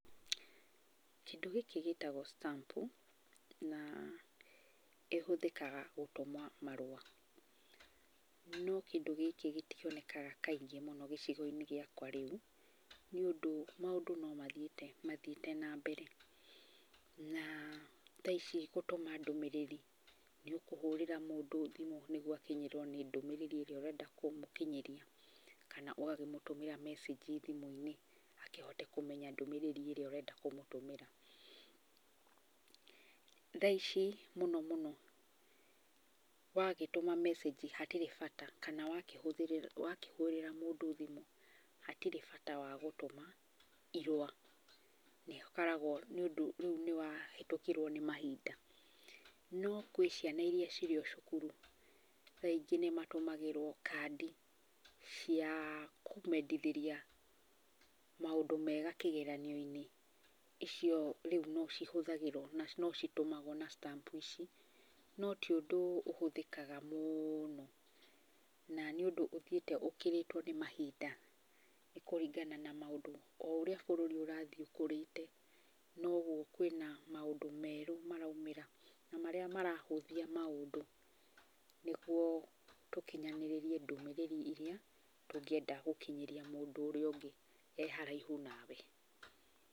Kĩndũ gĩkĩ gĩtagwo stamp na ĩhũthĩkaga gũtũma marũa. No kĩndũ gĩkĩ gĩtionekaga kaingĩ mũno gĩcigo-inĩ gĩakwa rĩu, nĩ ũndũ maũndũ no mathiĩte mathiĩte na mbere. Na tha ici gũtũma ndumĩrĩri, nĩ ũkũhũrĩra mũndũ thimu nĩguo akinyĩrwo nĩ ndũmĩrĩri ĩrĩa ũrenda kũmũkinyĩria, kana ũgakĩmũtũmĩra mecĩnji thimũ-inĩ akĩhote kũmenya ndũmĩrĩri ĩrĩa ũrenda kũmũtũmĩra. Tha ici mũno mũno, wagĩtũma mecĩnji hatirĩ bata, kana wakĩhũrĩra mũndũ thimu hatirĩ bata wa gũtũma ĩrũa. Nĩ ũkoragwo nĩ ũndũ rĩu nĩ wahĩtũkirwo nĩ mahinda. No gwĩ ciana iria ciri o o cukuru, tha ingĩ nĩmatumagĩrwo kandi cia kũmendithĩria maũndũ mega kĩgeranio-inĩ, icio rĩu no cihuthagĩrwo, no citũmaguo na stamp ici, no ti ũndũ ũhũthĩkaga mũno. Na nĩ ũndũ ũthiĩte ũkĩrĩtwo nĩ mahinda nĩ kũringana na maũndũ, o ũrĩa bũrũri ũrathiĩ ũkũrĩte, noguo kwĩna maũndũ merũ maraumĩra na marĩa marahũthia maũndũ nĩguo tũkinyanĩrĩe ndũmĩrĩri iria ũngĩenda gũkinyĩria mũndũ ũrĩa ũngĩ e haraihu nawe.